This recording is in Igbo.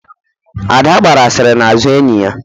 Ada gbara asịrị n'azụ enyi ya